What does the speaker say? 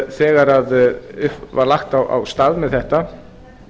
þegar var lagt af stað með þetta